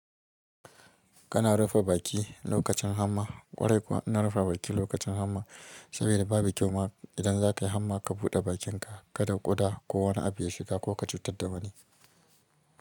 Kana rufe baki lokacin hamma. Ƙwarai kuwa ina rufe baki lokacin hamma saboda babu kyau ma idan za ka yi hamma ka buɗe bakinka kada ƙuda ko wani abu ya shiga ko ka cutar da wani.